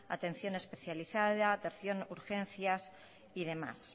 atención especializada atención urgencias y demás